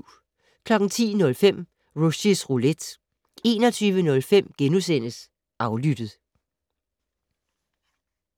10:05: Rushys Roulette 21:05: Aflyttet *